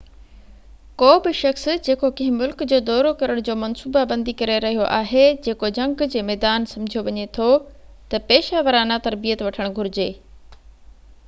ڪو به شخص جيڪو ڪنهن ملڪ جو دورو ڪرڻ جي منصوبابندي ڪري رهيو آهي جيڪو جنگ جي ميدان سمجهيو وڃي ٿو ته پيشه ورانه تربيت وٺڻ گهرجي